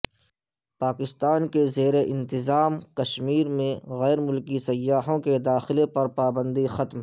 پاکستان کے زیر انتظام کشمیر میں غیر ملکی سیاحوں کے داخلے پر پابندی ختم